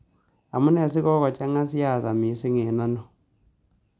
Amunee sigogochang'a siasa misiing' eng' oino